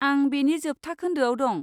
आं बेनि जोबथा खोन्दोआव दं।